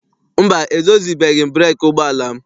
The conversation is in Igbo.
Mba, edozibeghị m breekị ụgbọala m.